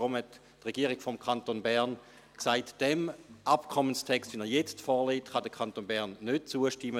Deshalb sagte die Regierung des Kantons Bern: «Dem Abkommenstext, wie er jetzt vorliegt, kann der Kanton Bern nicht zustimmen;